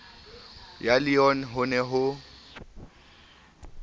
ya leon ho ne ho